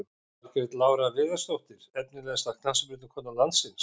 Margrét Lára Viðarsdóttir Efnilegasta knattspyrnukona landsins?